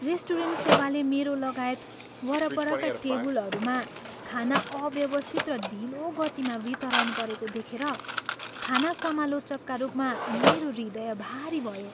Restaurant सेवाले मेरो लगायत वरपरका टेबुलहरूमा खाना अव्यवस्थित र ढिलो गतिमा वितरण गरेको देखेर खाना समालोचकका रूपमा मेरो हृदय भारी भयो।